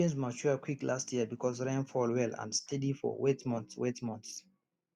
our beans mature quick last year because rain fall well and steady for wet months wet months